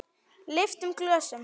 Lyftum glösum!